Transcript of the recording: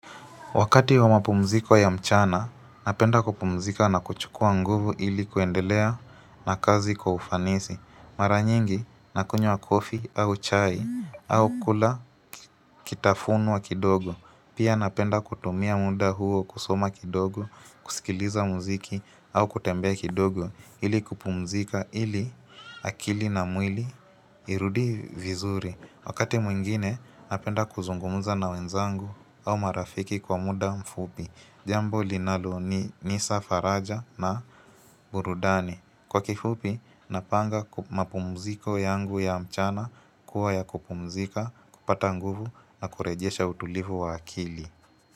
Wakati wa mapumziko ya mchana, napenda kupumzika na kuchukua nguvu ili kuendelea na kazi kwa ufanisi. Mara nyingi, nakunywa coffee au chai au kula kitafunio kidogo. Pia napenda kutumia muda huo kusoma kidogo, kusikiliza muziki au kutembea kidogo ili kupumzika ili akili na mwili irudi vizuri. Wakati mwingine napenda kuzungumza na wenzangu au marafiki kwa muda mfupi Jambo linaloni nipa faraja na burudani Kwa kifupi napanga mapumziko yangu ya mchana kuwa ya kupumzika, kupata nguvu na kurejesha utulivu wa akili.